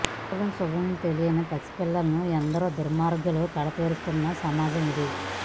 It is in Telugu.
అభం శుభం తెలియని పసి పిల్లలను ఎందరో దుర్మార్గులు కడ తేరుస్తున్న సమాజం ఇది